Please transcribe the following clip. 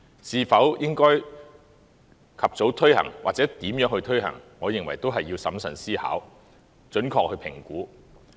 是否應該及早推行或如何推行，我認為也須審慎思考，準確地評估。